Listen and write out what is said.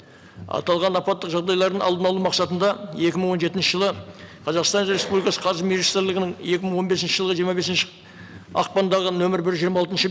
аталған апаттық жағдайлардың алдын алу мақсатында екі мың он жетінші жылы қазақстан республикасы қаржы министрлігінің екі мың он бесінші жылы жиырма бесінші ақпандағы нөмір бір жиырма алтыншы